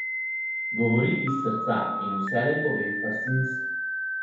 Govori iz srca in vselej pove, kar si misli.